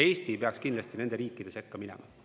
Eesti ei peaks kindlasti nende riikide sekka minema.